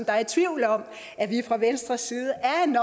er i tvivl om at vi fra venstres side